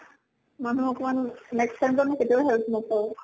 মানুহ অকমান next time কেতিয়াও help নকৰো।